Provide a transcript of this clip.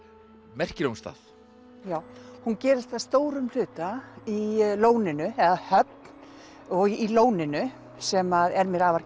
merkilegum stað já hún gerist að stórum hluta í Lóninu eða Höfn og í Lóninu sem er mér afar